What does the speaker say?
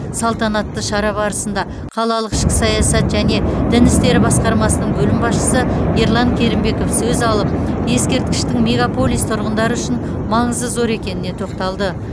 салтанатты шара барысында қалалық ішкі саясат және дін істері басқармасының бөлім басшысы ерлан керімбеков сөз алып ескерткіштің мегаполис тұрғындары үшін маңызы зор екеніне тоқталды